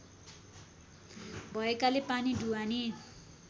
भएकाले पानी ढुवानी